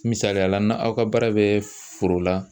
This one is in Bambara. Misaliyala na aw ka baara bɛ foro la